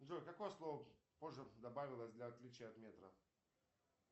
джой какое слово позже добавилось для отличия от метра